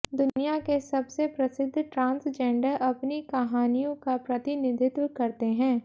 दुनिया के सबसे प्रसिद्ध ट्रांसजेंडर अपनी कहानियों का प्रतिनिधित्व करते हैं